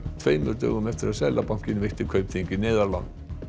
tveimur dögum eftir að Seðlabankinn veitti Kaupþingi neyðarlán